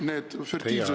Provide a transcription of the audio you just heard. Teie aeg!